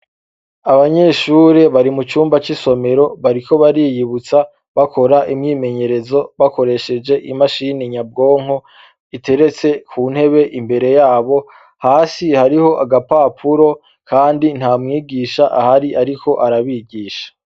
Abanyeshure bari mucumba c'isomero bariko bariyibutsa bakoresheje imashini nyabwonko iteretse imbere yabo, hasi hariho agapapuro, kandi nta mwigisha ahari ariko arabigisha.